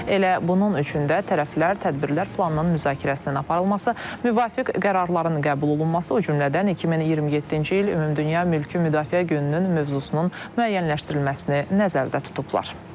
Elə bunun üçün də tərəflər tədbirlər planının müzakirəsinin aparılması, müvafiq qərarların qəbul olunması, o cümlədən 2027-ci il ümumdünya mülki müdafiə gününün mövzusunun müəyyənləşdirilməsini nəzərdə tutublar.